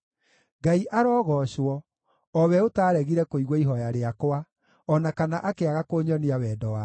Ngai arogoocwo, o we ũtaaregire kũigua ihooya rĩakwa, o na kana akĩaga kũnyonia wendo wake!